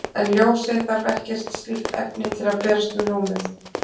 En ljósið þarf ekkert slíkt efni til að berast um rúmið.